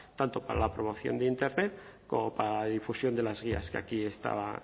tanto para la promoción de internet como para la difusión de las guías que aquí estaban